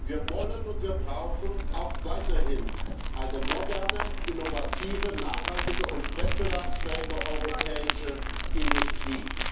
Wir wollen und wir brauchen auch weiterhin eine moderne, innovative, nachhaltige und wettbewerbsfähige europäische Industrie.